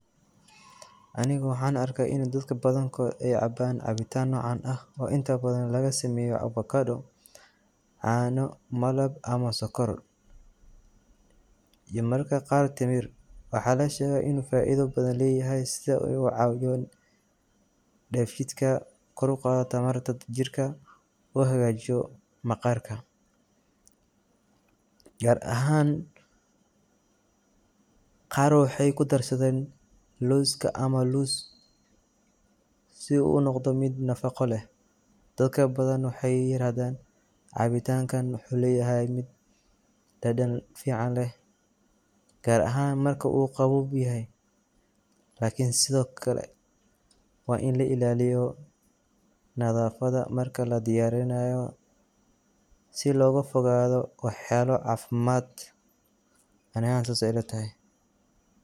Aniga waxaan arkaa in dadka badan kod ey caban cabitan nocan ah oo inta badan laga sameyo Avocado cano, malab ama sokor iyo mararka qaar timir waxaa lashegaa in faido badan leyahy sida deefshidka inu kor uqado jirka uhagajiyo maqarka gaar ahan qaar waxey ku darsaden looska si uu unoqdo mid nafaqo leh dadka badan waxey yirahdaan cabitanka waxuu leyahy dadan ficanleh gaar ahan marka uu qabob yahay lakin sido kale waa in la ilaliyo nadafada marka la diyarinayo si loga fogado wax yalo cafimad ani sas ey ila tahay.